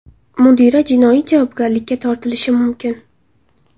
Mudira jinoiy javobgarlikka tortilishi mumkin.